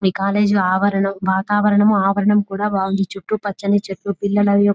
ఈ కాలేజీ ఆవరణం వాతావరణం ఆవరణం కూడా బాగుంది చుట్టు పచ్చని చెట్లు పిల్లల --